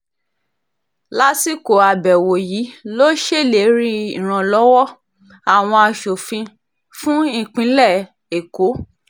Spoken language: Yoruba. lásìkò àbẹ̀wò yìí ló ṣèlérí ìrànlọ́wọ́ àwọn asòfin fún ìpínlẹ̀ èkó